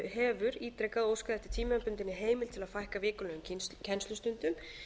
hefur ítrekað óskað eftir tímabundinni heimild til að fækka vikulegum kennslustundum